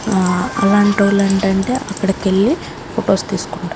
ఆ అలాంటోళ్లు ఏంటంటే అక్కడికెళ్ళి ఫోటోస్ తీసుకుంటా --